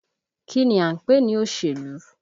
Kí ni à ń pè ní òṣèlú?